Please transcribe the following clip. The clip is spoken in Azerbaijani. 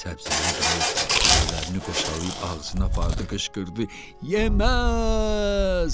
Səbzəli dayı əllərini qoşalayıb ağzına apardı, qışqırdı: Yeməz!